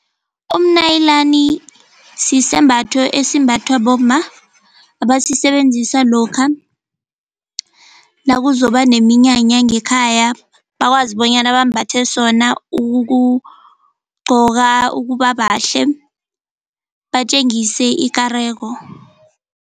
Umnyalinani sisembatho esimbathwa bomma abasisebenzisa lokha nakuzokuba neminyanya ngekhaya bakwazi bonyana bambathe sona ukugqoka, ukuba bahle batjengise ikareko.